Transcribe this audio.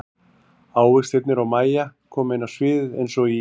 Ávextirnir og Mæja koma inn á sviðið eins og í